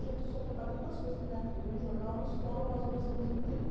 Gente, eu só trabalhei em duas coisas na minha vida, em jornal ou escola, ou nas duas ao mesmo tempo.